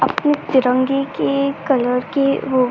अपने तिरंगे के कलर के वो --